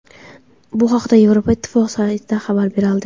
Bu haqda Yevropa Ittifoqi saytida xabar berildi .